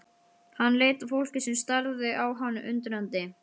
Hann leit á fólkið sem starði á hann undrandi.